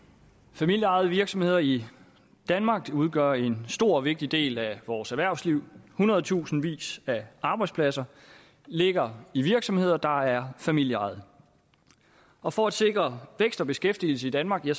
familieejede virksomheder i danmark udgør en stor og vigtig del af vores erhvervsliv hundredtusindvis af arbejdspladser ligger i virksomheder der er familieejede og for at sikre vækst og beskæftigelse i danmark er